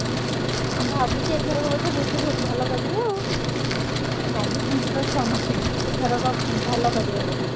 ଅହ! ମୁଁ ଭାବୁଚି ଏଥରକ ବୋଧେ ଭୋଜି ବହୁତ୍ ଭଲ କରିବେ ଆଉ। ଲାଗିପଡିଛନ୍ତି ତ ସମସ୍ତେ ଏଥରକ ଭଲ କରିବେ ବୋଲି।